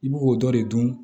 I b'o dɔ de dun